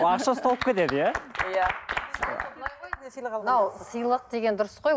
ақша ұсталып кетеді иә иә мынау сыйлық деген дұрыс қой